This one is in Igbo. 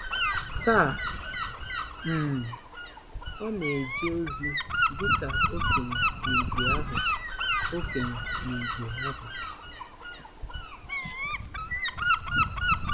Taa, um ọ na-eje ozi dị ka okenye n'ìgwè ahụ okenye n'ìgwè ahụ.